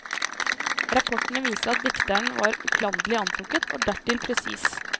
Rapportene viser at dikteren var uklanderlig antrukket og dertil presis.